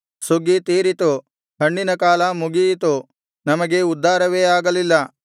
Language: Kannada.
ಸುಗ್ಗಿ ತೀರಿತು ಹಣ್ಣಿನ ಕಾಲ ಮುಗಿಯಿತು ನಮಗೆ ಉದ್ಧಾರವೇ ಆಗಲಿಲ್ಲ